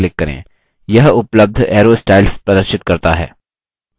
यह उपलब्ध arrow styles प्रदर्शित करता है